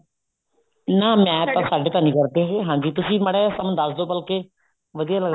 ਨਾ ਮੈਂ ਤਾਂ ਸਾਡੇ ਤਾਂ ਨਹੀਂ ਕਰਦੇ ਇਹ ਹਾਂਜੀ ਤੁਸੀਂ ਮਾੜਾ ਜਿਹਾ ਸਾਨੂੰ ਦੱਸਦੋ ਬਲਕਿ ਵਧੀਆ